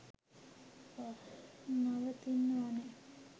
නවතින්න ඕනේ